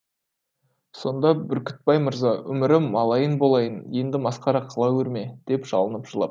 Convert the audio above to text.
сонда бүркітбай мырза өмірі малайын болайын енді масқара қыла көрме деп жалынып жылапты